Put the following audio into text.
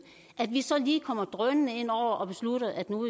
at vi så lige kommer drønende ind over og beslutter at nu